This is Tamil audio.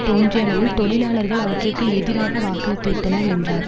தோன்றிய அளவில் தொழிலாளர்கள் அவற்றிற்கு எதிராக வாக்களித்துவிட்டனர் என்றார்